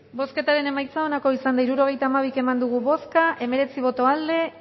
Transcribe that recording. bozketaren emaitza onako izan da hirurogeita hamairu eman dugu bozka hemeretzi boto aldekoa